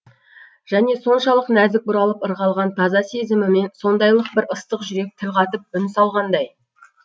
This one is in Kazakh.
және соншалық нәзік бұралып ырғалған таза сезімімен сондайлық бір ыстық жүрек тіл қатып үн салғандай